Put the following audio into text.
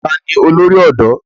Ta ni olórí ọ̀dọ́?